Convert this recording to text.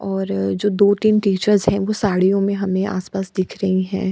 और जो दो-तीन टीचर्स हैं वो साड़ियों मे हमें आस-पास दिख रही है।